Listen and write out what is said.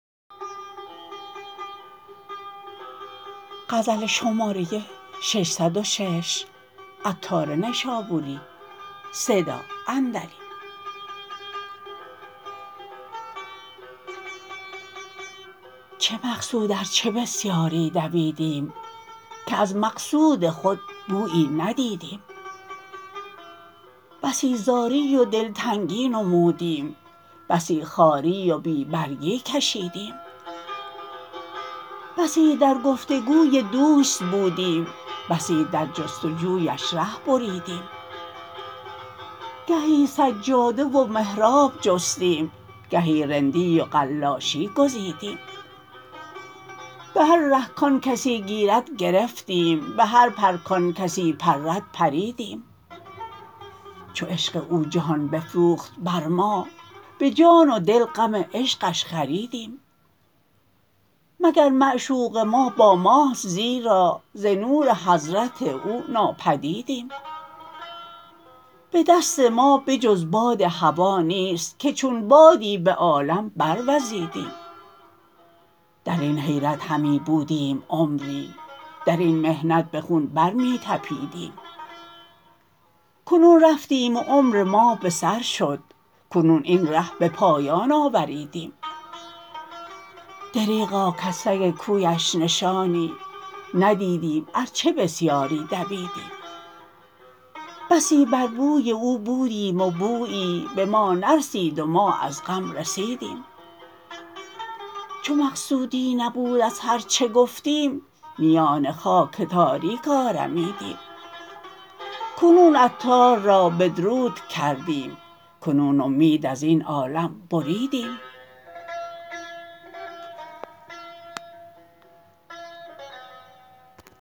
چه مقصود ار چه بسیاری دویدیم که از مقصود خود بویی ندیدیم بسی زاری و دلتنگی نمودیم بسی خواری و بی برگی کشیدیم بسی در گفتگوی دوست بودیم بسی در جستجویش ره بریدیم گهی سجاده و محراب جستیم گهی رندی و قلاشی گزیدیم به هر ره کان کسی گیرد گرفتیم به هر پر کان کسی پرد پریدیم چو عشق او جهان بفروخت بر ما به جان و دل غم عشقش خریدیم مگر معشوق ما با ماست زیرا ز نور حضرت او ناپدیدیم به دست ما به جز باد هوا نیست که چون بادی به عالم بر وزیدیم درین حیرت همی بودیم عمری درین محنت به خون بر می تپیدیم کنون رفتیم و عمر ما به سر شد کنون این ره به پایان آوریدیم دریغا کز سگ کویش نشانی ندیدیم ار چه بسیاری دویدیم بسی بر بوی او بودیم و بویی به ما نرسید و ما از غم رسیدیم چو مقصودی نبود از هرچه گفتیم میان خاک تاریک آرمیدیم کنون عطار را بدرود کردیم کنون امید ازین عالم بریدیم